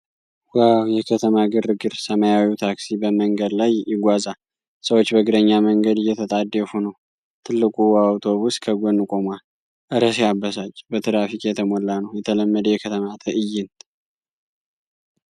ዋው፣ የከተማ ግርግር! ሰማያዊው ታክሲ በመንገድ ላይ ይጓዛል። ሰዎች በእግረኛ መንገድ እየተጣደፉ ነው። ትልቁ አውቶቡስ ከጎን ቆሟል። እረ ሲያበሳጭ፣ በትራፊክ የተሞላ ቀን። የተለመደ የከተማ ትዕይንት